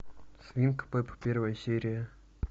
свинка пеппа первая серия